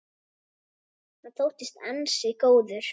Hann þóttist ansi góður.